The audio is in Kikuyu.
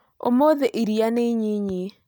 ũmũthĩ iria nĩ inyinyi